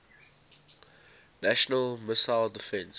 national missile defense